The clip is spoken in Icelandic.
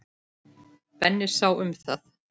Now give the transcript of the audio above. Benni sá um það.